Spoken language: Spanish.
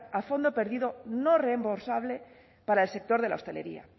a fondo perdido no reembolsable para el sector de la hostelería